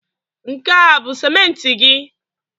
Nke a bụ simenti gị?